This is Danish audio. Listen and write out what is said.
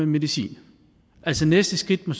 medicin altså næste skridt må